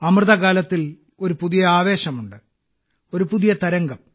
അമൃതകാലത്തിൽ ഒരു പുതിയ ആവേശമുണ്ട് ഒരു പുതിയ തരംഗം